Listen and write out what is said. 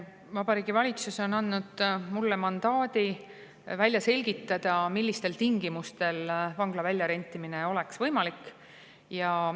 Vabariigi Valitsus on andnud mulle mandaadi välja selgitada, millistel tingimustel oleks vangla väljarentimine võimalik.